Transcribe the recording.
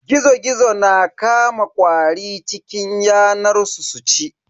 Gizo-Gizo na Kama ƙwari cikin yanar su su ci.